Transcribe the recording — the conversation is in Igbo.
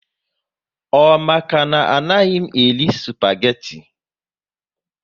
Ọ maka na anaghị m eri spageti